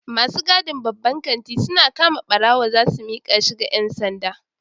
Masu gadin babban kanti suna kama barawo zasu mika shi ga 'yan sanda